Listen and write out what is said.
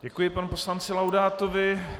Děkuji panu poslanci Laudátovi.